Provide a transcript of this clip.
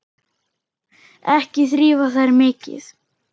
Ekki þrífa þær mikið.